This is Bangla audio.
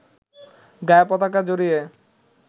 গায়ে পতাকা জড়িয়ে